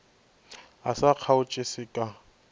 o sa kgaotše se ka